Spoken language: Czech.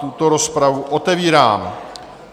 Tuto rozpravu otevírám.